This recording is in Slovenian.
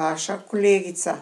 vaša kolegica.